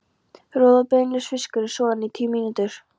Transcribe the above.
Roð- og beinlaus fiskur er soðinn í tíu mínútur.